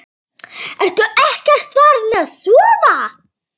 Ertu ekkert farin að sofa!